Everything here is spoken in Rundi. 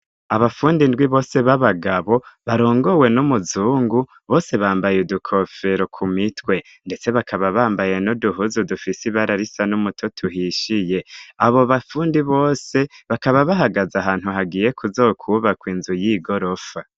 Abafundi indwi bose b'abagabo barongowe n'umuzungu, bose bambaye udukofero ku mitwe; ndetse bakaba bambaye n'uduhuzu dufise ibara risa n'umuto uhishiye; Abo bafundi bose bakaba bahagaze ahantu hagiye kuzokwubakwa inzu y'igorofa.